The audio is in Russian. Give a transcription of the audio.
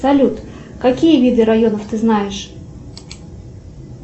салют какие виды районов ты знаешь